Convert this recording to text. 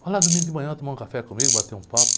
Vai lá, domingo de manhã, tomar um café comigo, bate um papo.